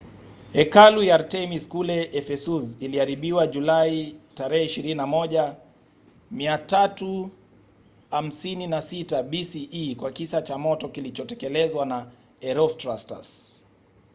hekalu ya artemis kule ephesus iliharibiwa julai 21 356 bce kwa kisa cha moto kilichotekelezwa na herostratus